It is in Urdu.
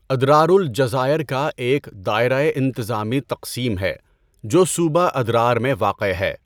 ادرار الجزائر کا ایک دائرۂ انتظامی تقسیم ہے جو صوبہ ادرار میں واقع ہے۔